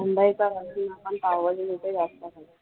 मुंबईकर राहून आपण पावभाजी कुठे जास्त खातो.